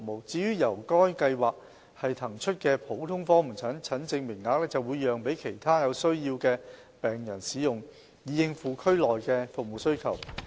至於由該計劃騰出的普通科門診診症名額，會讓給其他有需要的病人使用，以應付區內的服務需求。